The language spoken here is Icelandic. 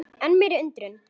Enn meiri undrun